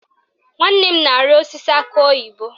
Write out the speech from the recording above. Nwanne m na-arị osisi akị oyibo